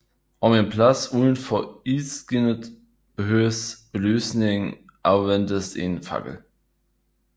Om en plads udenfor ildskinnet behøvede belysning anvendtes en fakkel